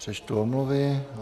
Přečtu omluvy.